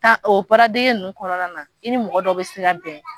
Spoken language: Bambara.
Ta o baara degi nunnu kɔnɔna na, i ni mɔgɔ dɔw bɛ se ka bɛn.